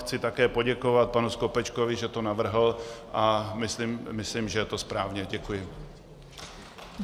Chci také poděkovat panu Skopečkovi, že to navrhl, a myslím, že je to správně Děkuji.